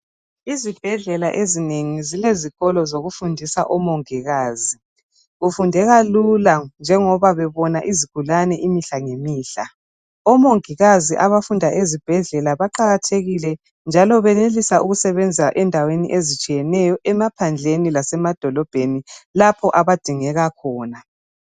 Izibhedlela ezinengi zilezikolo zokufundisa omongikazi. Kufundeka lula njengoba bebona izigulane imihla ngemihla. Omongikazi abafunda ezibhedlela baqakathekile njalo benelisa ukusebenza endaweni ezitshiyeneyo, emaphandleni lasemadolobheni lapho abadingeka khona.